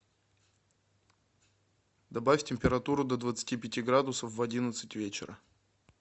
добавь температуру до двадцати пяти градусов в одиннадцать вечера